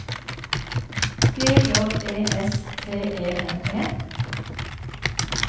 G J E S T E N E